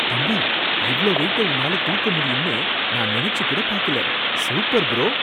தம்பி! இவ்ளோ வெயிட்ட உன்னால தூக்க முடியும்னு நான் நினைச்சுச்சு கூட பாக்கல. Super bro!